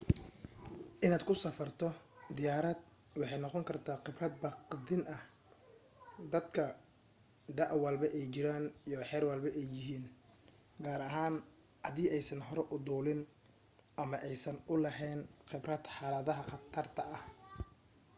in aad ku safarto diyaarad waxay noqon karta qibrad baqdin ah dadka da' walba ay jiraan iyo xeer walba ay yahin gaar ahaan haddii aysan hore u duulin ama aysan u laheyn qibrad xaladaha qatarta ah